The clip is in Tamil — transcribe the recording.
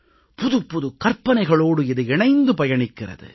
புதுப்புதுக் கற்பனைகளோடு இது இணைந்து பயணிக்கிறது